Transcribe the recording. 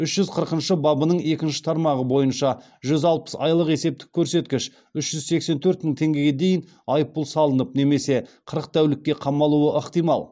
үш жүз қырқыншы бабының екінші тармағы бойынша жүз алпыс айлық есептік көрсеткіш үш жүз сексен төрт мың теңгеге дейін айыппұл салынып немесе қырық тәулікке қамалуы ықтимал